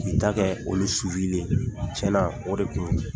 K'i ta kɛ olu suwuli tiyɛ na o de kun